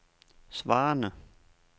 svarende